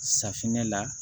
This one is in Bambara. Safinɛ la